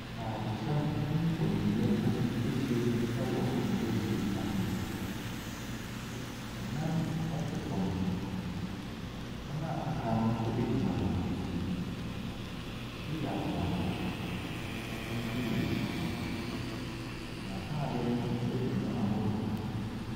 Ntaade hyɛmu nfoniyɛfo bi ɛhyia mu wɔ dwumadie bi ase. Ɛnan ɛte fam, wɔn a waka no nso egyina wɔnakyi. Ebi yɛ abrɔfo, ebi yɛ abibifoɔ. Wɔn ataade no egu mu ahodoɔ.